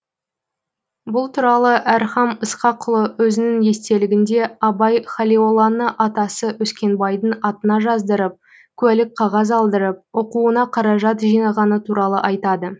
бұл туралы әрхам ысқақұлы өзінің естелігінде абай халиолланы атасы өскенбайдың атына жаздырып куәлік қағаз алдырып оқуына қаражат жинағаны туралы айтады